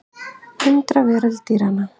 Undraveröld dýranna.